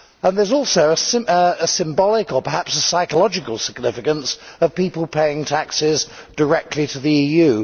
There is also a symbolic or perhaps a psychological significance of people paying taxes directly to the EU.